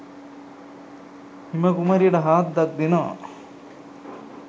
හිම කුමරියට හාද්දක් දෙනවා